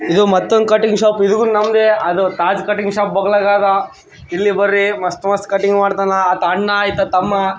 ಇದು ಮತ್ತೊಂದು cutting shop ಇದು ನಮ್ದೆ ಅದು ತಾಜ್ ಕಟ್ಟಿಂಗ್ ಶೋಪ್ ಬಗ್ಲಾಗಾದ ಇಲ್ಲಿ ಬರ್ರಿ ಮಸ್ತ್ ಮಸ್ತ್ ಕಟ್ಟಿಂಗ್ ಮಾಡ್ತಾನ ಆತ್ ಅಣ್ಣ್ ಇತ್ತ ತಮ್ಮ.